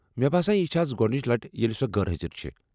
مےٚ باسان یہ چھےٚ از گۄڈنچ لٹھ ییٚلہ سۄ غٲرحٲضر چھےٚ۔